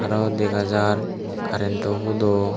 arow dega jar karentw hudo.